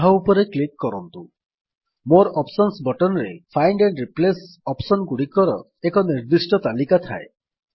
ତାହା ଉପରେ କ୍ଲିକ୍ କରନ୍ତୁ ମୋରେ ଅପସନ୍ସ ବଟନ୍ ରେ ଫାଇଣ୍ଡ ଆଣ୍ଡ୍ ରିପ୍ଲେସ୍ ଅପ୍ସନ୍ ଗୁଡିକର ଏକ ନିର୍ଦ୍ଦିଷ୍ଟ ତାଲିକା ଥାଏ